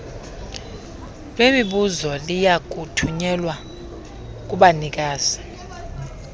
lwemibuzo liyakuthunyelwa kubanikazi